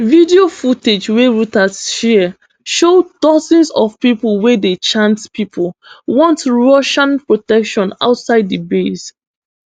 video footage wey reuters share show dozens of pipo wey dey chant pipo want russian protection outside di base